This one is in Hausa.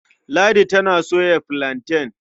Ladi tana soya filanten.